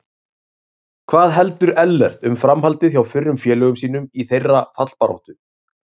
Hvað heldur Ellert um framhaldið hjá fyrrum félögum sínum í þeirra fallbaráttu?